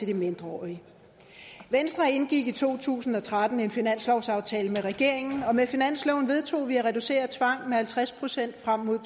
de mindreårige venstre indgik i to tusind og tretten en finanslovsaftale med regeringen og med finansloven vedtog vi at reducere tvang med halvtreds procent frem mod